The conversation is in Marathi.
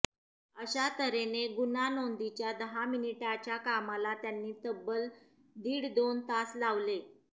अशा तऱ्हेने गुन्हा नोंदीच्या दहा मिनिटाच्या कामाला त्यांनी तब्बल दीड दोन तास लावले